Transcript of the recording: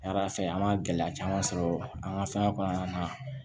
Yann'a fɛ an ma gɛlɛya caman sɔrɔ an ka fɛn kɔnɔna na